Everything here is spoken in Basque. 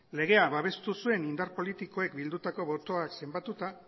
legea babestu zuten indar politikoek bildutako botoak zenbatuta